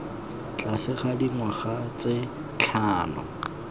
tlase ga dingwaga tse tlhano